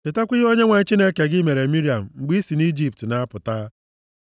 Chetakwa ihe Onyenwe anyị Chineke gị mere Miriam, mgbe i si nʼIjipt na-apụta.